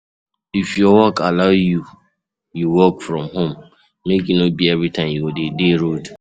If your work allow you work from home make e no be everytime you go de dey road